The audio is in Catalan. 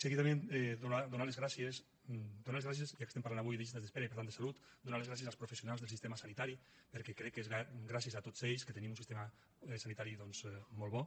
seguidament donar les gràcies donar les gràcies ja que estem parlant avui de llistes d’espera i per tant de salut donar les gràcies als professionals del sistema sanitari perquè crec que és gràcies a tots ells que tenim un sistema sanitari doncs molt bo